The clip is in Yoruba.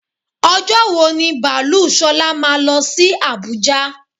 Ọjọ́ wo ní baalú Ṣọlá máa lọ sí àbújá?